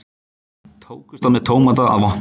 Tókust á með tómata að vopni